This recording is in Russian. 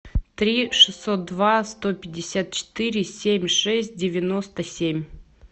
три шестьсот два сто пятьдесят четыре семь шесть девяносто семь